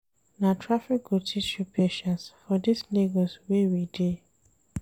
Na traffic go teach you patience for dis Lagos wey we dey.